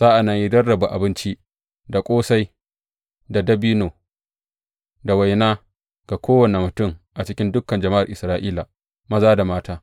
Sa’an nan ya rarraba abinci, da ƙosai, dabino, da waina ga kowane mutum a cikin dukan jama’ar Isra’ila, maza da mata.